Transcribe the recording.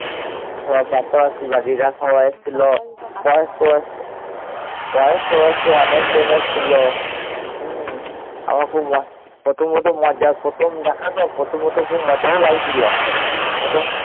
বয়স্ক বয়স্ক অনেকজন এসছিল। হম আমার খুব, প্রথম প্রথম মজা, প্রথম দেখা তো, প্রথম প্রথম খুব মজাও লাগছিল